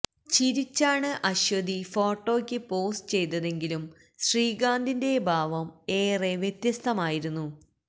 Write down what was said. ചിരിച്ചാണ് അശ്വതി ഫോട്ടോയ്ക്ക് പോസ് ചെയ്തതെങ്കിലും ശ്രീകാന്തിന്റെ ഭാവം ഏറെ വ്യത്യസ്തമായിരുന്നു